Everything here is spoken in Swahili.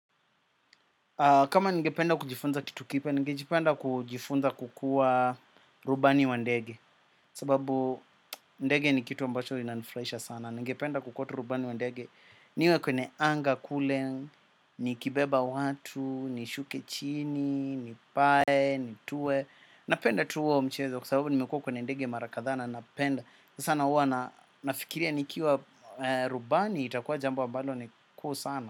Kama ningependa kujifunza kitu kipya, ningejipenda kujifunza kukua rubani wa ndege. Sababu ndege ni kitu ambacho inanifuraisha sana. Ningependa kukua tu rubani wa ndege. Niwe kwenye anga kule, nikibeba watu, nishuke chini, nipae, nituwe. Napenda tu huwo mchezo, kwa sababu nimekua kwenye ndege mara kadha na, napenda. Sana huwa nafikiria nikiwa rubani, itakuwa jambo ambalo ni kuu sana.